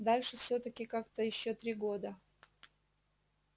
дальше всё-таки как-то ещё три года